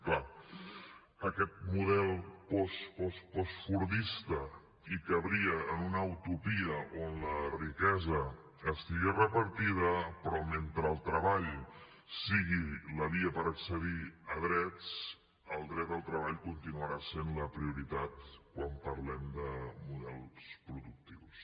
és clar aquest model post post postfordista cabria en una utopia on la riquesa estigués repartida però mentre el treball sigui la via per accedir a drets el dret al treball continuarà sent la prioritat quan parlem de models productius